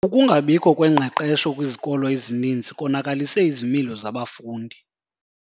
Ukungabikho kwengqeqesho kwizikolo ezininzi konakalise izimilo zabafundi.